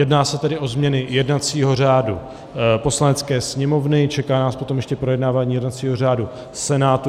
Jedná se tedy o změny jednacího řádu Poslanecké sněmovny, čeká nás potom ještě projednávání jednacího řádu Senátu.